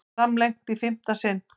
Framlengt í fimmta skiptið